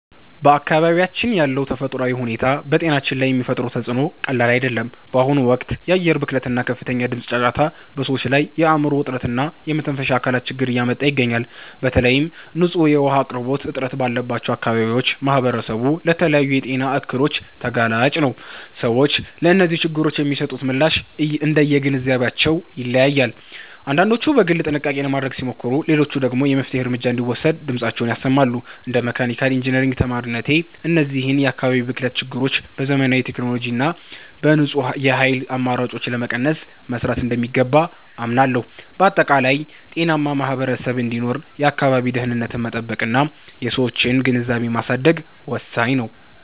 በአካባቢያችን ያለው ተፈጥሯዊ ሁኔታ በጤናችን ላይ የሚፈጥረው ተፅዕኖ ቀላል አይደለም። በአሁኑ ወቅት የአየር ብክለት እና ከፍተኛ የድምፅ ጫጫታ በሰዎች ላይ የአእምሮ ውጥረት እና የመተንፈሻ አካላት ችግር እያመጣ ይገኛል። በተለይም ንጹህ የውኃ አቅርቦት እጥረት ባለባቸው አካባቢዎች ማኅበረሰቡ ለተለያዩ የጤና እክሎች ተጋላጭ ነው። ሰዎች ለእነዚህ ችግሮች የሚሰጡት ምላሽ እንደየግንዛቤያቸው ይለያያል፤ አንዳንዶች በግል ጥንቃቄ ለማድረግ ሲሞክሩ፣ ሌሎች ደግሞ የመፍትሔ እርምጃ እንዲወሰድ ድምፃቸውን ያሰማሉ። እንደ መካኒካል ኢንጂነሪንግ ተማሪነቴ፣ እነዚህን የአካባቢ ብክለት ችግሮች በዘመናዊ ቴክኖሎጂ እና በንጹህ የኃይል አማራጮች ለመቀነስ መሥራት እንደሚገባ አምናለሁ። በአጠቃላይ፣ ጤናማ ማኅበረሰብ እንዲኖር የአካባቢን ደኅንነት መጠበቅና የሰዎችን ግንዛቤ ማሳደግ ወሳኝ ነው።